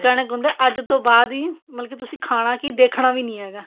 ਕਣਕ ਹੁੰਦਾ ਅੱਜ ਤੋਂ ਬਾਅਦ ਈ ਮਤਲਬ ਕੀ ਤੁਸੀਂ ਖਾਣਾ ਕੀ ਦੇਖਣਾ ਵੀ ਨੀ ਹੈਗਾ